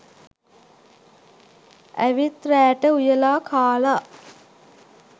ඇවිත් රෑට උයලා කාලා